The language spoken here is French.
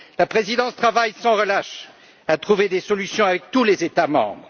La présidence travaille sans relâche pour trouver des solutions avec tous les États membres.